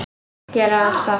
Gerði það alltaf.